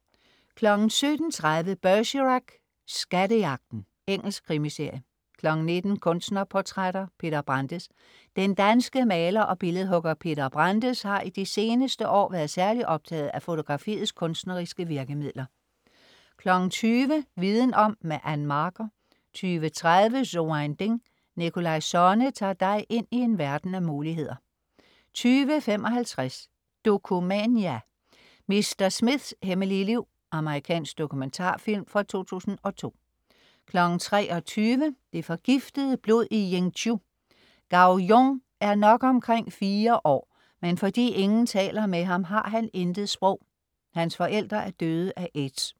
17.30 Bergerac: Skattejagten. Engelsk krimiserie 19.00 Kunstnerportrætter: Peter Brandes. Den danske maler og billedhugger Peter Brandes har i de seneste år været særligt optaget af fotografiets kunstneriske virkemidler 20.00 Viden om. Ann Marker 20.30 So ein Ding. Nikolaj Sonne tager dig ind i en verden af muligheder 20.55 Dokumania: Mr. Smiths hemmelige liv. Amerikansk dokumentarfilm fra 2002 23.00 Det forgiftede blod i Yingzhou. Gao Jun er nok omkring fire år, men fordi ingen taler med ham, har han intet sprog. Hans forældre er døde af aids.